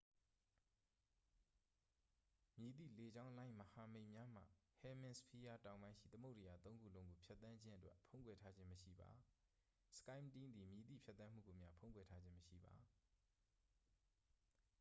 မည်သည့်လေကြောင်းလိုင်းမဟာမိတ်များမှ ဟဲမင်စဖီးယား တောင်ပိုင်းရှိ သမုဒ္ဒရာသုံးခုလုံးကိုဖြတ်သန်းခြင်းအတွက် ဖုံးကွယ်ထားခြင်းမရှိပါ skyteam သည် မည်သည့် ဖြတ်သန်းမှုကိုမျှ ဖုံးကွယ်ထားခြင်းမရှိပါ။